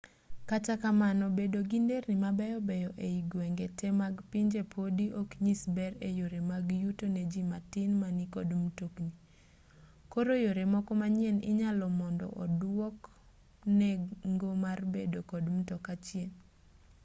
kata kamano bedo gi nderni mabeyobeyo ei gwenge te mag pinje podi oknyis ber e yore mag yuto ne ji matin ma nikod mtokni koro yore moko manyien inyago mondo oduok nengo mar bedo kod mtoka chien